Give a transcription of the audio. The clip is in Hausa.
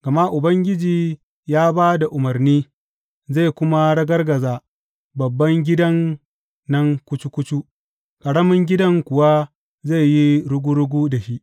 Gama Ubangiji ya ba da umarni, zai kuma ragargaza babban gidan nan kucu kucu ƙaramin gidan kuwa zai yi rugu rugu da shi.